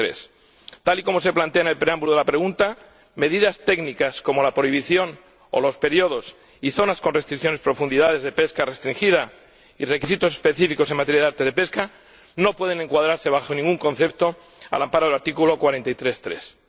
43. Tal y como se plantea en el preámbulo de la pregunta, medidas técnicas, como la prohibición o los periodos y zonas con restricciones, profundidades de pesca restringida y requisitos específicos en materia de artes de pesca no pueden encuadrarse, bajo ningún concepto, al amparo del artículo 43, apartado